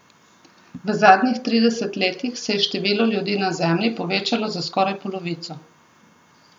V zadnjih trideset letih se je število ljudi na Zemlji povečalo za skoraj polovico.